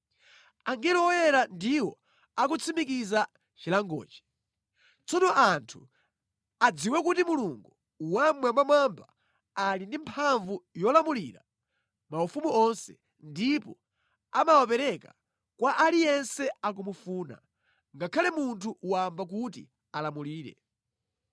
“ ‘Angelo oyera ndiwo akutsimikiza chilangochi. Tsono anthu adziwe kuti Mulungu Wammwambamwamba ali ndi mphamvu yolamulira maufumu onse, ndipo amawapereka kwa aliyense akumufuna, ngakhale munthu wamba kuti alamulire.’